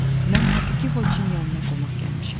Mən Nikiforiçin yanına qonaq gəlmişəm.